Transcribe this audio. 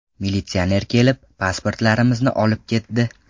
Militsioner kelib, pasportlarimizni olib ketdi.